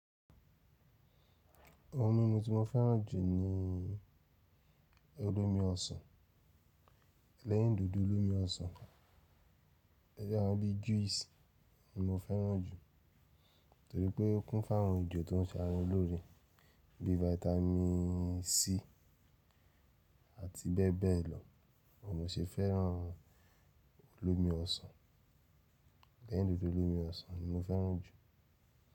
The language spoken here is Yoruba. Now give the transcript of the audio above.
Ohun mímu tí mo fẹ́ràn jù ni ii olómi ọsàn. Lẹ́yìn dòdò olómi ọsàn, ẹgbẹ́ àwọn bí juice ni mo fẹ́ràn jù. Torí pé ó kún fún àwọn òjò tó ń ṣe àrà lóore bí vitamin c àti bẹ́ẹ̀ bẹ́ẹ̀ lọ. Mo sì fẹ́ràn olómi ọsàn. Lẹ́yìn dòdò olómi ọsàn ni mo fẹ́ràn jù.